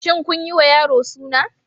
Shin kun yiwa yaro Suna?